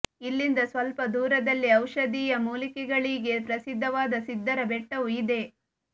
ಇಲ್ಲಿಂದ ಸ್ವಲ್ಪ ದೂರದಲ್ಲೇ ಔಷಧೀಯ ಮೂಲಿಕೆಗಳಿಗೆ ಪ್ರಸಿದ್ಧವಾದ ಸಿದ್ಧರ ಬೆಟ್ಟವೂ ಇದೆ